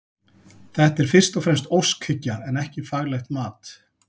Þetta er fyrst og fremst óskhyggja en ekki faglegt mat.